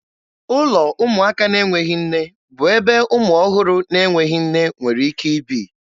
Ụlọ ụmụaka na-enweghị nne bụ ebe ụmụ ọhụrụ na-enweghị nne nwere ike ibi.